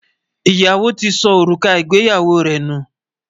Iyawo tí ṣó orúkà ìgbéyàwó rẹ nú